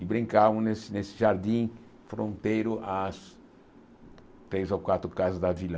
e brincavamos nesse nesse jardim fronteiro às três ou quatro casas da vila.